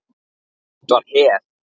Hitt var Hel.